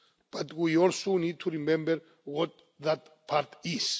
But we also need to remember what that part is.